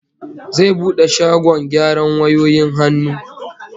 Zai bude shagkn gyaran wayoyin hannu